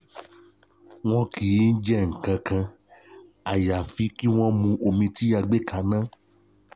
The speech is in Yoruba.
Wọn kì í jẹ nǹkan kan àyàfi kí wọ́n mu omi tí a gbé kaná